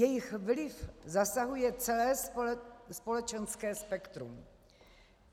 Jejich vliv zasahuje celé společenské spektrum.